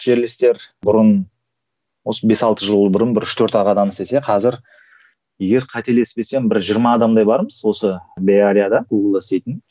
жерлестер бұрын осы бес алты жыл бұрын бір үш төрт ақ адам істесе қазір егер қателеспесем бір жиырма адамдай бармыз осы беарияда гугл да істейтін